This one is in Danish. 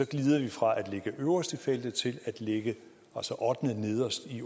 glider vi fra at ligge øverst i feltet til at ligge ottendenederst i